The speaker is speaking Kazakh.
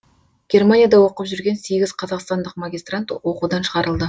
германияда оқып жүрген сегіз қазақстандық магистрант оқудан шығарылды